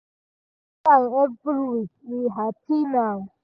we check am every week we happy now